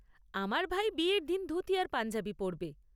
আমার ভাই বিয়ের দিন ধুতি আর পাঞ্জাবি পরবে।